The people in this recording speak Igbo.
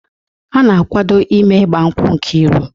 A na-akwado ime ịgba nkwụ Nkiru